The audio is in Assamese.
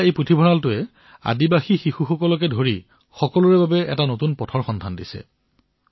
আজি এই পুথিভঁৰালে আদিবাসীৰ শিশুসকলৰ সৈতে বহুতকে নতুন পথ প্ৰদৰ্শিত কৰিছে